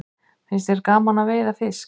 Finnst þér gaman að veiða fisk?